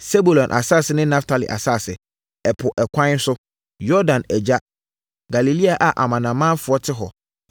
“Sebulon asase ne Naftali asase, ɛpo ɛkwan so, Yordan agya, Galilea a amanamanfoɔ te hɔ,